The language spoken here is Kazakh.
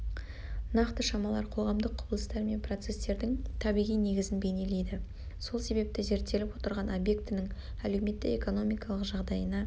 нақты шамалар қоғамдық құбылыстар мен процестердің табиғи негізін бейнелейді сол себепті зерттеліп отырған объектінің-әлеуметтік-экономикалық жағдайына